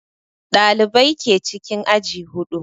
Ɗalibai ke cikin aji huɗu